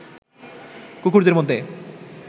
কুকুরদের মধ্যে